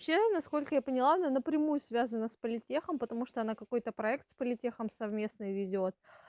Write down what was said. вообще насколько я поняла она напрямую связана с политехом потому что она какой-то проект с политехом совместной ведёт